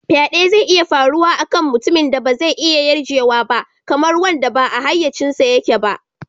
Faɗe zai iya faruwa a kan mutumin da ba zai iya yarjewa ba, kamar wanda ba a hayyacinsa yake ba.